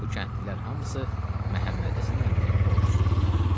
Bu kəndlilər hamısı Məhəmmədhəsən əminin qonşusu idilər.